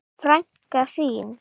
Frænka þín?